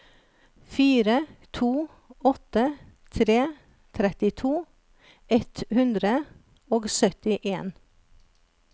fire to åtte tre trettito ett hundre og syttien